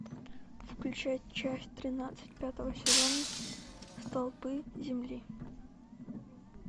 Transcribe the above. включай часть тринадцать пятого сезона столпы земли